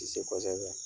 Ti se kosɛbɛ